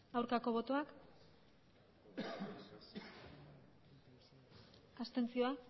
aurkako botoak abstentzioa